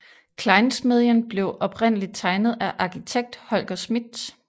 Klejnsmedien blev oprindeligt tegnet af arkitekt Holger Schmidt